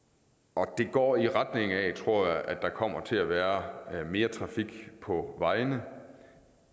og det går i retning af tror jeg at der kommer til at være mere trafik på vejene